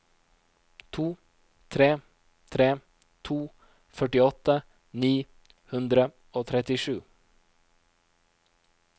to tre tre to førtiåtte ni hundre og trettisju